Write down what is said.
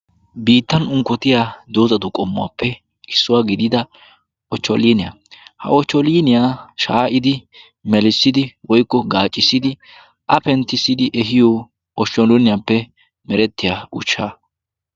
biittan unqkotiya doozatu qommuwaappe issuwaa gidida ohcholiniyaa ha ohcholiniyaa shaa'idi melissidi woyqqo gaacissidi a penttissidi ehiyo oshsholinniyaappe merettiya uchcha.